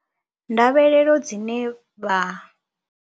Ndavhelelo dzine vha.